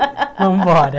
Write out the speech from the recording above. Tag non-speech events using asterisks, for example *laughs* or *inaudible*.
*laughs* Vamos embora.